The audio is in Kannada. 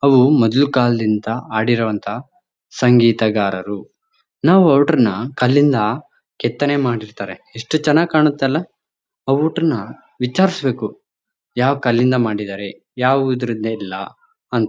ಅವು ಮೊದ್ಲು ಕಾಲದಿಂದ ಹಾಡಿರುವಂತಹ ಸಂಗೀತ ಗಾರರು. ನಾವು ಕಲ್ಲಿಂದ ಕೆತ್ತನೆ ಮಾಡಿರ್ತಾರೆ ಎಸ್ಟ್ ಚೆನ್ನಾಗ್ ಕಾಣತ್ತಲ್ಲ ಪೌಡರ್ ನ ವಿಚಾರಿಸಬೇಕು ಯಾವ ಕಲ್ಲಿಂದ ಮಾಡಿದರೆ ಯಾವ ಇದರಿಂದ ಇಲ್ಲ ಅಂತ --